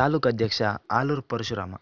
ತಾಲೂಕು ಅಧ್ಯಕ್ಷ ಆಲೂರು ಪರಶುರಾಮ